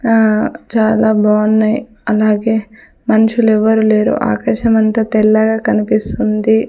ఆ చాలా బాన్నాయ్ అలాగే మనుష్యులెవ్వరూ లేరు ఆకాశమంత తెల్లగా కనిపిస్తుంది.